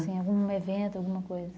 algum evento, alguma coisa.